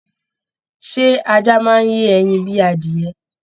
Ṣé ajá máa n yé ẹyin bíi adiyẹ?